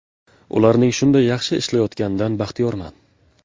Ularning shunday yaxshi ishlayotganidan baxtiyorman.